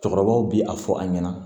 Cɛkɔrɔbaw bi a fɔ an ɲɛna